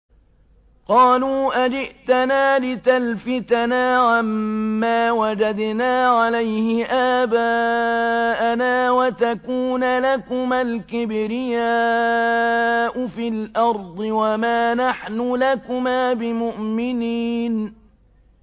قَالُوا أَجِئْتَنَا لِتَلْفِتَنَا عَمَّا وَجَدْنَا عَلَيْهِ آبَاءَنَا وَتَكُونَ لَكُمَا الْكِبْرِيَاءُ فِي الْأَرْضِ وَمَا نَحْنُ لَكُمَا بِمُؤْمِنِينَ